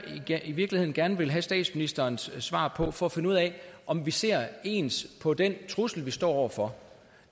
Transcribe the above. i virkeligheden gerne ville have statsministerens svar på for at finde ud af om vi ser ens på den trussel vi står over for